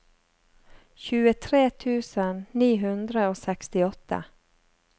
tjuetre tusen ni hundre og sekstiåtte